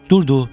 Durdu.